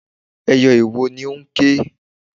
Ẹyẹ iwo ni ó ń ké.